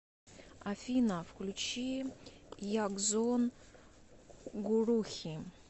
афина включи ягзон гурухи